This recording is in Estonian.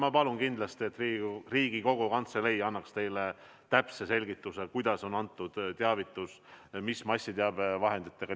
Ma palun kindlasti, et Riigikogu Kantselei annaks teile täpse selgituse, kuidas on tehtud teavitus, missuguste massiteabevahenditega.